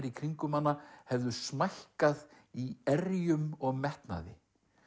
í kringum hana hefðu smækkað í erjum og metnaði